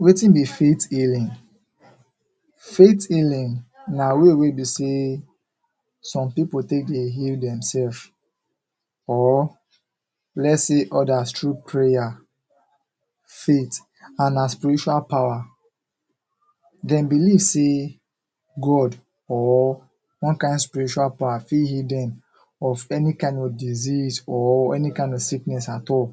Wetin be faith healing? Faith healing na way wey be sey some pipo dey take dey heal dem selfs or lets say odas tru prayer, faith and na spiritual power. Dem believe sey God or one kind spiritual power fit heal dem of any kind of disease or any kind of sickness at all..